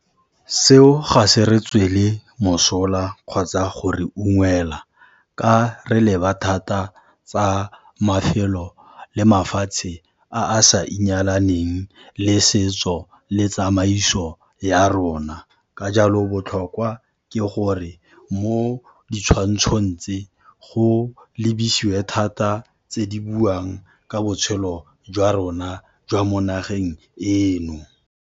Seo ga se re tswele mosola kgotsa go re ungwelwa ka re leba thata tsa mafelo le mafatshe a sa inyalaneng le setso le tsamaiso ya rona. Ka jalo botlhokwa ke gore mo ditshwantshong tse, go lebesiwe thata tse di buang ka botshelo jwa rona jwa mo nageng eno.